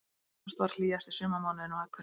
Ágúst varð hlýjasti sumarmánuðurinn á Akureyri